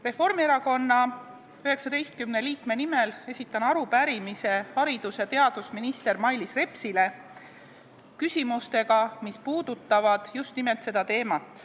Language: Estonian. Reformierakonna 19 liikme nimel esitan arupärimise haridus- ja teadusminister Mailis Repsile küsimustega, mis puudutavad just nimelt seda teemat.